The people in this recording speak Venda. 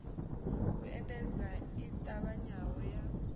u endedza i ṱavhanyaho ya